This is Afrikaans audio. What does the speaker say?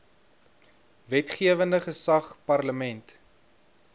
wetgewende gesag parlement